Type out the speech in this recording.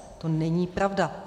To není pravda.